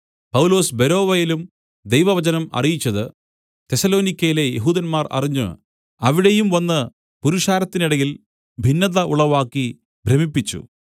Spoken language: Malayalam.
പൗലൊസ് ബെരോവയിലും ദൈവവചനം അറിയിച്ചത് തെസ്സലോനിക്യയിലെ യെഹൂദന്മാർ അറിഞ്ഞ് അവിടെയും വന്ന് പുരുഷാരത്തിനിടയിൽ ഭിന്നത ഉളവാക്കി ഭ്രമിപ്പിച്ചു